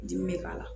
Dimi bɛ k'a la